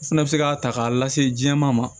O fɛnɛ bɛ se k'a ta k'a lase jɛman ma